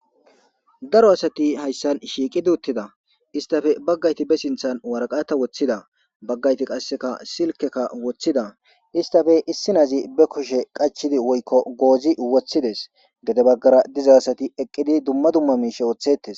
Daro asati hayssan shiiqi duuttida istafe baggayti be sinthan waraqata woththida baggayti qasseka silkeka woththida istafe issinazi be kushe qachidi woykko goozi woththides gede baggara diza asati eqqidi dumma dumma miishe wooththettes